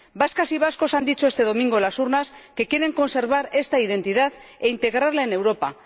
Vascas y vascos han dicho este domingo en las urnas que quieren conservar esta identidad e integrarla en Europa.